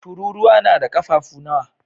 Tururuwa na da ƙafafu nawa?